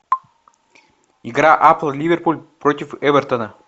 игра апл ливерпуль против эвертона